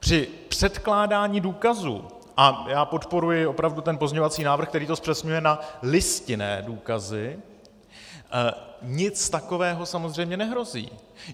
Při předkládání důkazů, a já podporuji opravdu ten pozměňovací návrh, který to zpřesňuje na listinné důkazy, nic takového samozřejmě nehrozí.